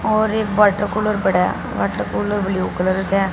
और एक water cooler बड़ा है वाटर कूलर ब्लू कलर का है।